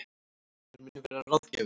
Hann mun vera ráðgjafi